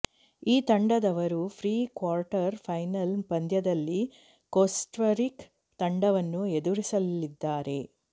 ಈ ತಂಡದವರು pre quarter final ಪಂದ್ಯದಲ್ಲಿ ಕೋಸ್ಟರಿಕ ತಂಡವನ್ನು ಎದುರಿಸಲಿದ್ದಾರೆ